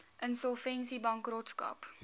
insolvensiebankrotskap